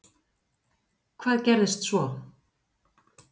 Hvað gerðist svo?